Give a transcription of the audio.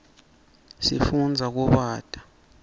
sifundza kubata